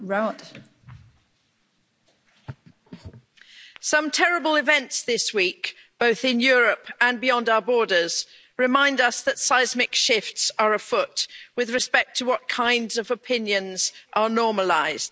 Madam President, some terrible events this week, both in Europe and beyond our borders, remind us that seismic shifts are afoot with respect to what kinds of opinions are normalised.